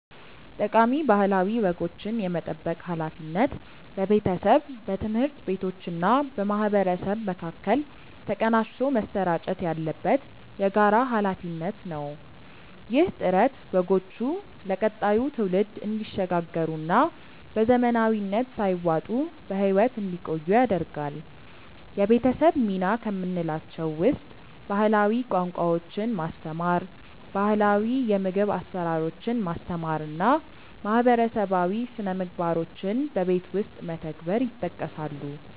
ጠቃሚ ባህላዊ ወጎችን የመጠበቅ ሃላፊነት በቤተሰብ፣ በትምህርት ቤቶችና በማህበረሰብ መካከል ተቀናጅቶ መሰራጨት ያለበት የጋራ ሃላፊነት ነው። ይህ ጥረት ወጎቹ ለቀጣዩ ትውልድ እንዲሸጋገሩና በዘመናዊነት ሳይዋጡ በህይወት እንዲቆዩ ያደርጋል። የቤተሰብ ሚና ከምንላቸው ውስጥ ባህላዊ ቋንቋዎችን ማስተማር፣ ባህላው የምግብ አሰራሮችን ማስተማር እና ማህበረሰባዊ ስነምግባሮችን በቤት ውስጥ መተግበር ይጠቀሳሉ።